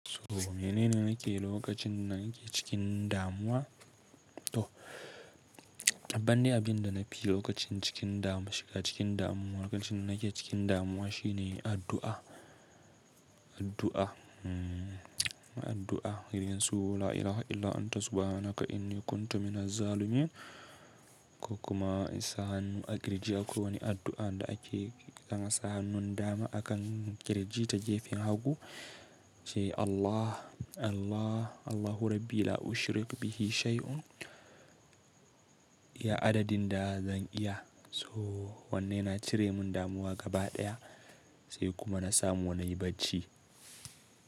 So mene ne nake yi lokacin da nake cikin damuwa? To, babban dai abin da na fi yi lokacin cikin damuwa, shiga cikin damuwa, lokacin da nake cikin damuwa shine addu'a, addu'a. Addu'a irin su “La ilaha illa anta subhanaka inni kunta minazzalimin” ko kuma in sa hannu a kirji. Akwai wani addu'a da ake ana sa hannun dama akan kirji ta gefen hagu ce “Allah, Allah, Allahu rabbi la ushirik bihi shay'un” iya adadin da zan iya. So wannan yana cire mun damuwa gaba ɗaya sai kuma na samu nayi barci.